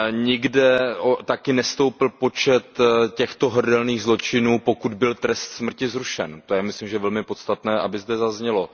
Nikde také nestoupl počet těchto hrdelních zločinů, pokud byl trest smrt zrušen, to je, myslím, velmi podstatné, aby zde zaznělo.